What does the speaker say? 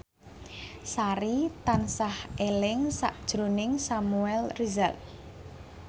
Sari tansah eling sakjroning Samuel Rizal